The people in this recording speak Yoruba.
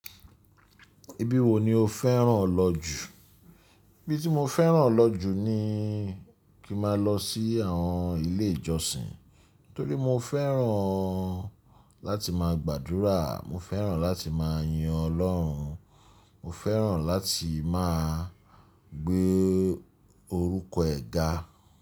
Ibi wo ni o fẹ́ràn lọ jù? Ibi tí mo fẹ́ràn lọ jù ni kí ma lọ sí àwọn ilé ìjọsìn. Nítorí mo fẹ́ràn láti má a gbàdúrà, mo fẹ́ràn láti má a yin Ọlọ́run, mo fẹ́ràn láti má a gbé orúkọ ẹ̀ ga.